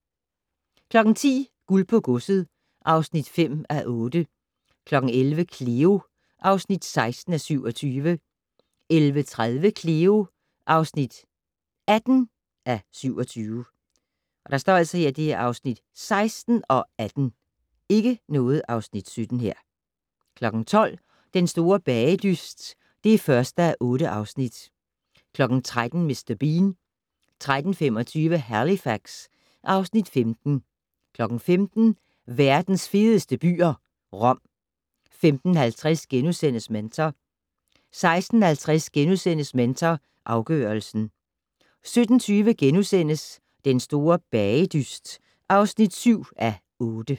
10:00: Guld på godset (5:8) 11:00: Cleo (16:27) 11:30: Cleo (18:27) 12:00: Den store bagedyst (1:8) 13:00: Mr. Bean 13:25: Halifax (Afs. 15) 15:00: Verdens fedeste byer - Rom 15:50: Mentor * 16:50: Mentor afgørelsen * 17:20: Den store bagedyst (7:8)*